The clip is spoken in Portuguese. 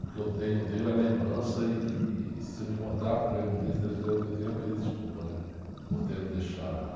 O que eu tenho dele é lembrança e, e se eu me encontrar com ele um dia, o que eu tenho é pedir desculpa, né, por tê-lo deixado lá.